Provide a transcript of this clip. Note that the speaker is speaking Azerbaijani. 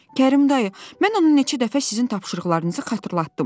Kərim dayı, mən onu neçə dəfə sizin tapşırıqlarınızı xatırlatdım.